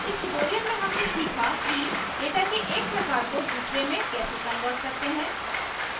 इस tutorial में हमने सीखा कि data के एक प्रकार को दूसरे में कैसे convert करते हैं